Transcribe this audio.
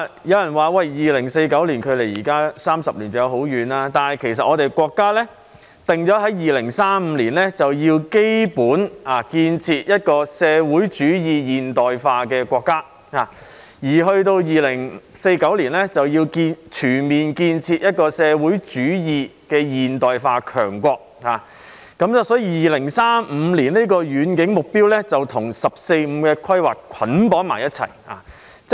有人說 ，2049 年距離現在還有30年，尚有一段很長時間，但其實國家已定在2035年，就要基本實現建設一個社會主義現代化國家，而到了2049年，就要全面建成一個社會主義現代化強國，所以2035年的遠景目標與"十四五"規劃捆綁在一起。